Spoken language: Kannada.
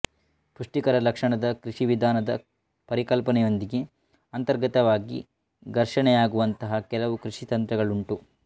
ಪುಷ್ಟಿಕರ ಲಕ್ಷಣದ ಕೃಷಿ ವಿಧಾನದ ಪರಿಕಲ್ಪನೆಯೊಂದಿಗೆ ಅಂತರ್ಗತವಾಗಿ ಘರ್ಷಣೆಯಾಗುವಂತಹ ಕೆಲವು ಕೃಷಿ ತಂತ್ರಗಳುಂಟು